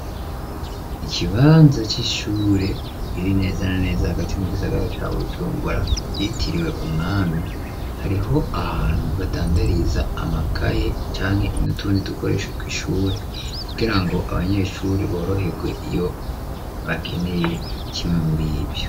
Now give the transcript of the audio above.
Ikibanza c'ishure riri nezana neza hagati mu igisagara ca bucumbura yitiriwe umwami hariho ahantu badandariza amakaye canke inutundi dukoreshe tw'ishure kugira ngo abanyeshuri borohewe iyo bakeneye kimwe muri ivyo.